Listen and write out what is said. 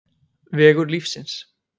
Vegur lífsins